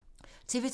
TV 2